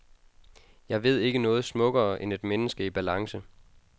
Jeg ved ikke noget smukkere end et menneske i balance.